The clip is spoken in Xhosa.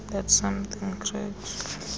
that something cracks